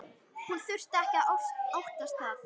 Hún þurfi ekki að óttast það.